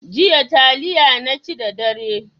Jiya taliya naci da dare.